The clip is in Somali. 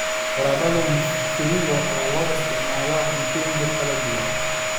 Baradho mviringo ayaa loo isticmaalaa cuntooyin kala duwan.